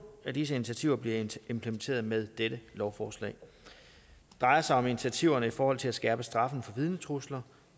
af disse initiativer bliver implementeret med dette lovforslag det drejer sig om initiativerne i forhold til at skærpe straffen for vidnetrusler